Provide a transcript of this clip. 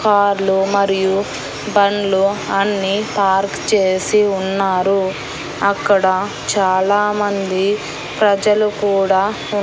కార్లు మరియు బండ్లు అన్ని పార్క్ చేసి ఉన్నారు అక్కడ చాలామంది ప్రజలు కూడా ఉ--